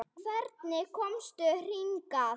Hvernig komstu hingað?